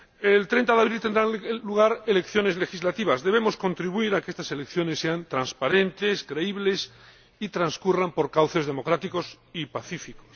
El 30 de abril tendrán lugar elecciones legislativas. Debemos contribuir a que estas elecciones sean transparentes y creíbles y a que transcurran por cauces democráticos y pacíficos.